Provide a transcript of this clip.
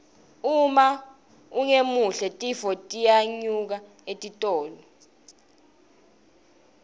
uma ungemuhle tinfo tiyenyuka etitolo